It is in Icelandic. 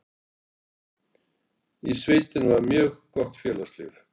Í sveitinni var mjög gott félagslíf.